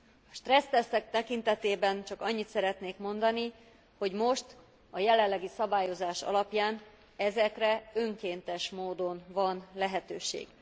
A stressz tesztek tekintetében csak annyit szeretnék mondani, hogy most, a jelenlegi szabályozás alapján ezekre önkéntes módon van lehetőség.